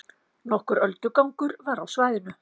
Nokkur öldugangur var á svæðinu